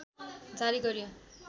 जारी गरियो